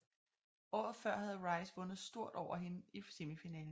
Året før havde Rice vundet stort over hende i semifinalen